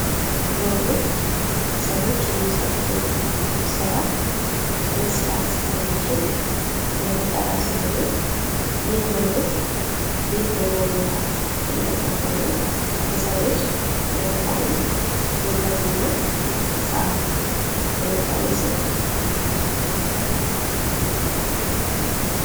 ሮቦት ሰዎች የሚሰሩትን ስራ መሰራት የሚችል የፈጠራ ስራ ነው። ይህ ሮቦት ቤት በመወልወያ እያፀዳ ነው። የሰዉ ልጅ ሚያወጣዉን ጉልበትና ሰዐት ለመቀነስ ይረዳል።